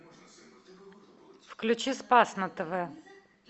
включи спас на тв